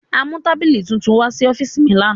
A mu tabili tuntun wa si ọfiisi mi lana.